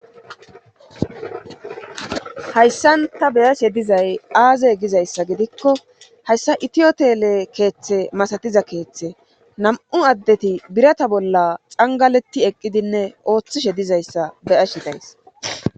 hayssan ta beyashe dizay aaze gizayssa gidikko hayssa itiyotele keeththe masatiza keeththe nam7u addeti birata bolla angaletti eqqidinne ooththishe dizayssa beyashe days